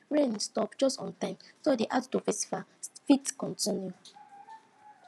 rain stop just on time so di outdoor festival fit continue